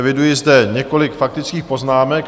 Eviduji zde několik faktických poznámek.